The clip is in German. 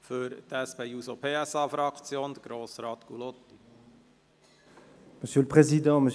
Für die SP-JUSO-PSA-Fraktion hat Grossrat Gullotti das Wort.